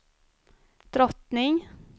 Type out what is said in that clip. drottning